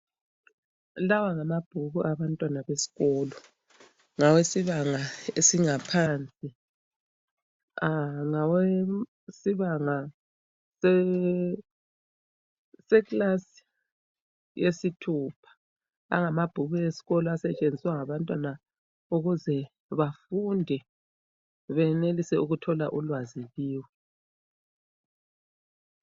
Lawa ngamabhuku abantwana besikolo ngawesibanga esingaphansi. Ngawesibanga seklasi yesithupha angamabhuku esikolo asetshenziswa ngabantwana ukuze bafunde benelise ukuthola ulwazi kiwo.